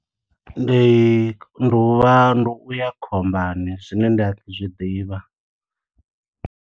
Ndi ndi u vha, ndi u ya khombani. Zwine nda zwi ḓi ḓivha.